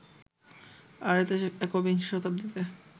আর এতে একবিংশ শতাব্দীতে